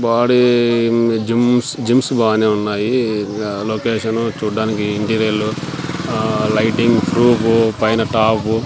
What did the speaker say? body gyms gyms బానే ఉన్నాయి ఇంగా లోకేషను చూడ్డానికి ఇంటీరియళ్ళు ఆ లైటింగ్ ఫ్రూఫు పైన టాపు --